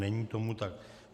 Není tomu tak.